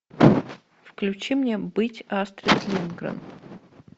включи мне быть астрид линдгрен